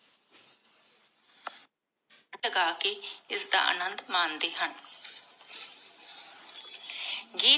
ਇਸਦਾ ਆਨੰਦ ਮਾਣਦੇ ਹਨ.